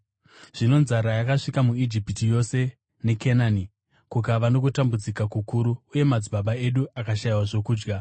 “Zvino nzara yakasvika muIjipiti yose neKenani, kukava nokutambudzika kukuru, uye madzibaba edu akashayiwa zvokudya.